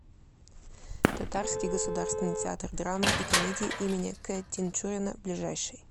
татарский государственный театр драмы и комедии им к тинчурина ближайший